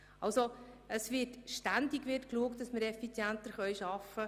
Wir schauen ständig, ob wir effizienter arbeiten können.